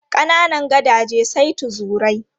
Kananan gadaje sai tuzurai.